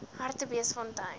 hartbeesfontein